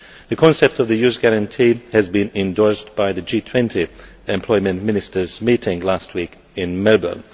The concept of the Youth Guarantee has been endorsed by the G20 employment Ministers meeting last week in Melbourne.